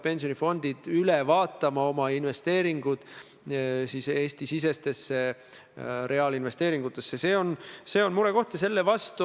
Aga see, et te ütlete, et ma pean ministeeriumidele ütlema, mis pildid või fotod või maalid nad tohivad sinna üles panna – no andke andeks!